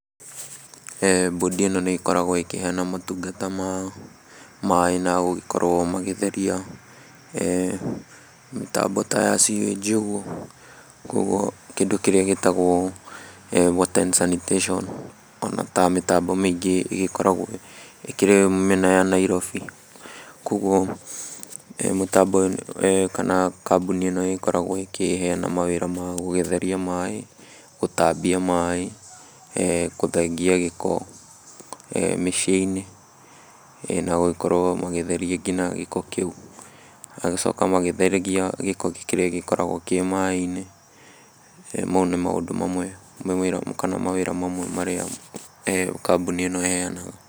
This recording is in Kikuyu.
Mbũndi ĩno nĩĩgĩkoragwo ikĩheana motungata ma maĩ na gũgĩkorwo magĩtheria mĩtambo ta ya sewage ũguo, kuoguo kĩndũ kĩrĩa gĩtagwo water and sanitation ona ta mĩtambo mĩingĩ ĩgĩkoragwo ĩkĩrĩ mĩena ya Nairobi, koguo mũtambo ũyũ kana kambũni ĩno nĩĩgĩkoragwo ĩkĩheana mawĩra ma gũgĩtheria maĩ, gũtambia maĩ, gũthengia gĩko mĩciĩ-inĩ na gũgĩkorwo magĩtheria ngina gĩko kĩu, magacoka magĩtheragia gĩko kĩrĩa gĩkoragwo kĩ maĩ-inĩ, mau nĩ maũndũ mamwe kana mawĩra mamwe marĩa kambũni ĩno ĩheanaga.